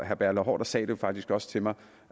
haarder sagde faktisk også til mig